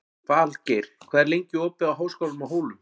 Falgeir, hvað er lengi opið í Háskólanum á Hólum?